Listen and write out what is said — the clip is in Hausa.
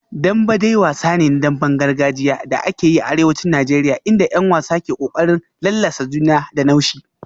Dembe dai wasa ne na damben gargajiya da ake yi a arewacin Najeriya inda 'yan wasa ke kokarin lallasa juna da naushi